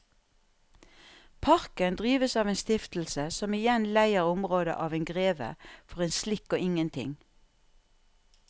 Parken drives av en stiftelse som igjen leier området av en greve for en slikk og ingenting.